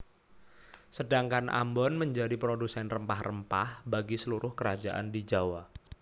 Sedangkan Ambon menjadi produsen rempah rempah bagi seluruh kerajaan di Jawa